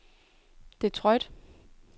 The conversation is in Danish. Detroit